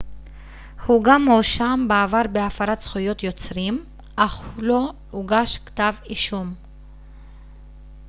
הוא גם הואשם בעבר בהפרת זכויות יוצרים אך לא הוגש כתב אישום